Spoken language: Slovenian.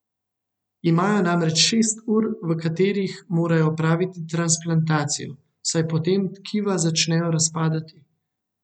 Imajo namreč šest ur, v katerih morajo opraviti transplantacijo, saj po tem tkiva začnejo razpadati.